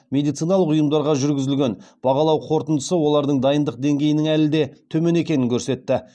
медициналық ұйымдарға жүргізілген бағалау қорытындысы олардың дайындық деңгейінің әлі де төмен екенін көрсетті